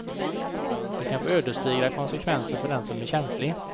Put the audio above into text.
Det kan få ödesdigra konsekvenser för den som är känslig.